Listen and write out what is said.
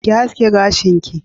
Ki haske gashin ki!